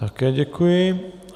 Také děkuji.